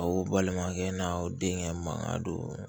Aw balimakɛ n'aw denkɛ mankan don